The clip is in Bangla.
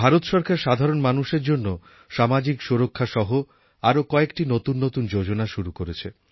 ভারত সরকার সাধারণ মানুষের জন্য সামাজিক সুরক্ষাসহ আরও কয়েকটি নতুন নতুন যোজনা শুরু করেছে